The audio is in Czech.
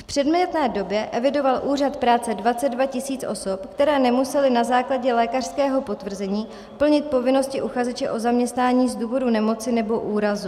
V předmětné době evidoval Úřad práce 22 tisíc osob, které nemusely na základě lékařského potvrzení plnit povinnosti uchazeče o zaměstnání z důvodu nemoci nebo úrazu.